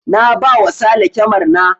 Na ba wa sale kyamar na